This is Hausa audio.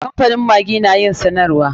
Kamfanin maggi na yin sanarwa.